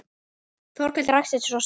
Þórkell ræskti sig og sagði